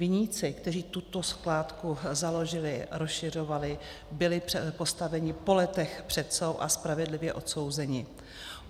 Viníci, kteří tuto skládku založili, rozšiřovali, byli postaveni po letech před soud a spravedlivě odsouzeni.